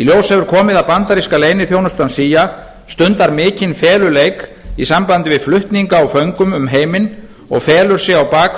í ljós hefur komið að bandaríska leyniþjónustan cia stundar mikinn feluleik í sambandi við flutninga á föngum um heiminn og felur sig á bak